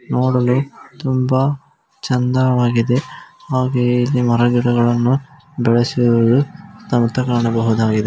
ನೋಡಲು ತುಂಬಾ ಚಂದವಾಗಿದೆ ಹಾಗೆಯೆ ಇಲ್ಲಿ ಮರಗಿಡಗಳನ್ನು ಬೆಳೆಸುವುದು ಅಂತ ಕಾಣಬಹುದಾಗಿದೆ.